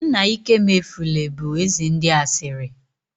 Nna ịkemefule bụ eze ndị asịrị